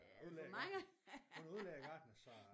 Udlært hun er udlært gartner så